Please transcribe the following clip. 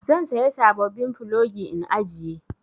Zan saya sabobbin plogi in ajiye.